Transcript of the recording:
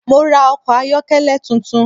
Mo ra ọkọ̀ ayọ́kẹ́lẹ́ tuntun